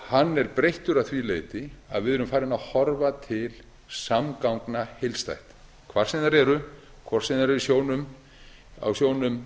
hann er breyttur að því leyti að við erum farin að horfa til samgangna heildstætt hvar sem þær eru hvort sem þær eru á sjónum